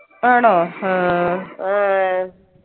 ആണോ ആ